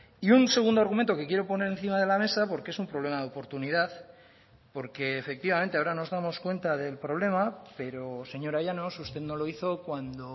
y un segundo argumento que quiero poner encima de la mesa porque es un problema de oportunidad porque efectivamente ahora nos damos cuenta del problema pero señora llanos usted no lo hizo cuando